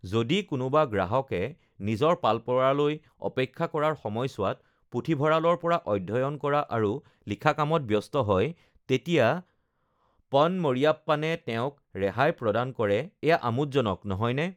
যদি কোনোবা গ্ৰাহকে নিজৰ পাল পৰালৈ অপেক্ষা কৰাৰ সময়ছোৱাত পুথিভঁৰালৰ পৰা অধ্যয়ন কৰা আৰু লিখা কামত ব্যস্ত হয় তেতিয়া পন মাৰিয়াপ্পানে তেওঁক ৰেহাই প্ৰদান কৰে এয়া আমোদজনক নহয়নে?